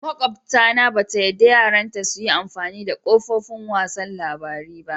Makwabta na ba ta yadda yaran ta su yi amfani da kafofin wasan labaru.